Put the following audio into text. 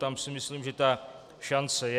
Tam si myslím, že ta šance je.